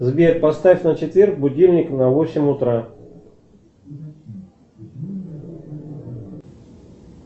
сбер поставь на четверг будильник на восемь утра